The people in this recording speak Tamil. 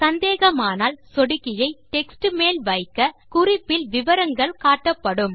சந்தேகமானால் சொடுக்கியை டெக்ஸ்ட் மேல் வைக்க குறிப்பில் விவரங்கள் காட்டப்படும்